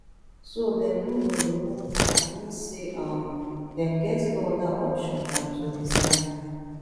so dem no go remove her mean say um dem get no oda option dan to resign